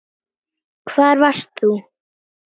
Hvar varst þú???